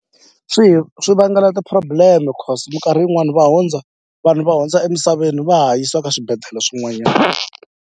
Swi hi swi vangela ti-problem choose mikarhi yin'wani va hundza vanhu va hundza emisaveni va ha yisiwa ka swibedhlele swin'wanyana.